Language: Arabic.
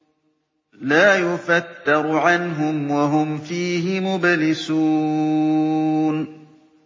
لَا يُفَتَّرُ عَنْهُمْ وَهُمْ فِيهِ مُبْلِسُونَ